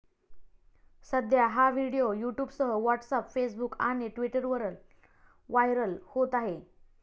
सध्या हा व्हिडीओ यूट्यूबसह व्हॉट्सअप, फेसबुक आणि ट्विटरवर व्हायरल होत आहे.